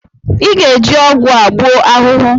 Ịga-eji ọgwụ a gbuo ahụhụ!